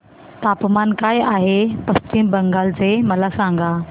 तापमान काय आहे पश्चिम बंगाल चे मला सांगा